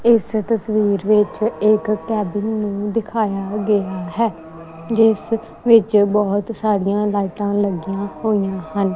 ਇਸ ਤਸਵੀਰ ਵਿੱਚ ਇੱਕ ਕੈਬਿਨ ਨੂੰ ਦਿਖਾਇਆ ਗਿਆ ਹੈ ਜਿਸ ਵਿੱਚ ਬਹੁਤ ਸਾਰੀਆਂ ਲਾਈਟਾਂ ਲੱਗੀਆਂ ਹੋਈਆਂ ਹਨ।